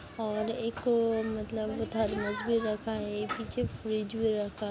और एक अ मतलब थर्मस भी रखा है पीछे फ्रिज भी रखा --